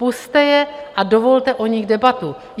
Pusťte je a dovolte o nich debatu.